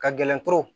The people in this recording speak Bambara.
Ka gɛlɛn pewu